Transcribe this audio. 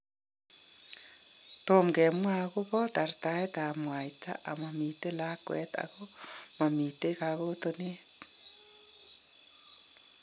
Tomo kemwa akobo tartaetab mwayta ,mamiten laakwet ako mamiten kakooteneet.